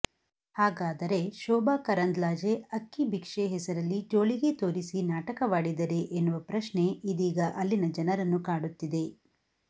ಹಾಗಾದರೆ ಶೋಭಾ ಕರಂದ್ಲಾಜೆ ಅಕ್ಕಿ ಭಿಕ್ಷೆ ಹೆಸರಲ್ಲಿ ಜೋಳಿಗೆ ತೋರಿಸಿ ನಾಟಕವಾಡಿದರೇ ಎನ್ನುವ ಪ್ರಶ್ನೆ ಇದೀಗ ಅಲ್ಲಿನ ಜನರನ್ನು ಕಾಡುತ್ತಿದೆ